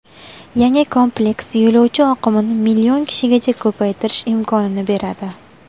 Yangi kompleks yo‘lovchi oqimini million kishigacha ko‘paytirish imkonini beradi.